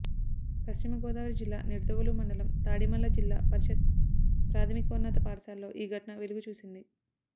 పశ్చిమ గోదావరి జిల్లా నిడదవోలు మండలం తాడిమళ్ళ జిల్లా పరిషత్ ప్రాథమికోన్నత పాఠశాలలో ఈ ఘటన వెలుగు చూసింది